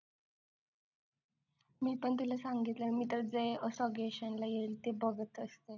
मी पण तुला सांगितलं मी असं जे suggestion बघत असते